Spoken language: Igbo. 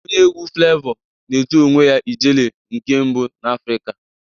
Onye egwu Flevọ na-etu onwe ya "Ijele nke mbụ n' Afrika